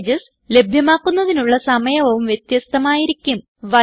package ലഭ്യമാക്കുന്നതിനുള്ള സമയവും വ്യത്യസ്ഥമായിരിക്കും